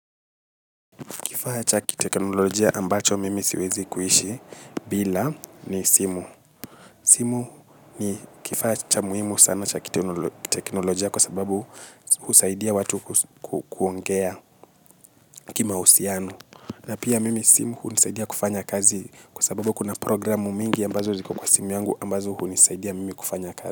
Kifaa ya kiteknologia ambacho mimi siwezi bila kuishi ni simu. Simu ni kifaa cha muhimu sana cha kiteknolojia kwa sababu husaidia watu kuongea kimausiano. Na pia mimi simu hunisaidia kufanya kazi kwa sababu kuna programu mingi ambazo ziko kwa simu yangu ambazo hunisaidia mimi kufanya kazi.